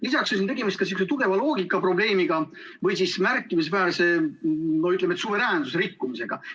Lisaks on siin tegemist ka sihuke tugeva loogikaprobleemiga või siis märkimisväärse, ütleme, suveräänsuse rikkumisega.